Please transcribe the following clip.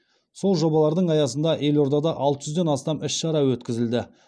сол жобалардың аясында елордада алты жүзден астам іс шара өткізілді